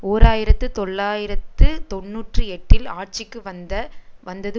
ஓர் ஆயிரத்து தொள்ளாயிரத்து தொன்னூற்றி எட்டில் ஆட்சிக்கு வந்த வந்தது